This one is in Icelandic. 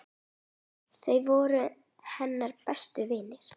Þau voru hennar bestu vinir.